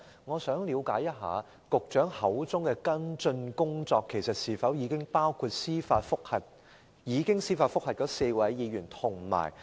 "我想問，局長所謂的"跟進工作"是否包括已向那4位議員提出的司法覆核？